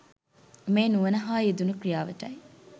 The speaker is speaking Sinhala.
මේ නුවණ හා යෙදුන ක්‍රියාවටයි.